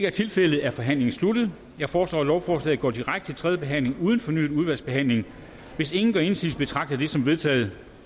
er tilfældet er forhandlingen sluttet jeg foreslår at lovforslaget går direkte til tredje behandling uden fornyet udvalgsbehandling hvis ingen gør indsigelse betragter jeg det som vedtaget